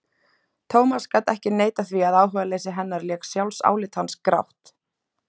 Thomas gat ekki neitað því að áhugaleysi hennar lék sjálfsálit hans grátt.